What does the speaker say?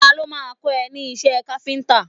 Ta ló má a kọ́ ẹ ní iṣẹ́ káfíntà?